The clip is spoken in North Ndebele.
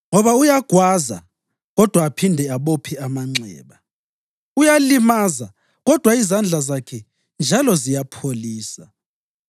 Ngoba uyagwaza, kodwa aphinde abophe amanxeba; uyalimaza kodwa izandla zakhe njalo ziyapholisa.